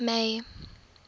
may